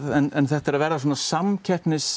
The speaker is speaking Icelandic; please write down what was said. en þetta er að verða samkeppnismál